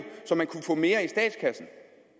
så man kunne få mere i statskassen